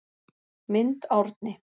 Mynd Árni